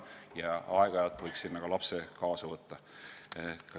Ja aeg-ajalt võiks sinna ka lapse kaasa võtta.